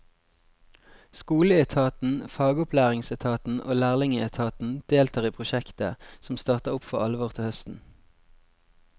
Skoleetaten, fagopplæringsetaten og lærlingeetaten deltar i prosjektet, som starter opp for alvor til høsten.